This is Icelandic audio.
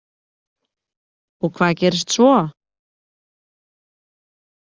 Og hvað gerist svo?